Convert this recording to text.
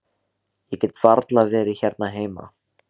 Ég get varla verið hérna heima.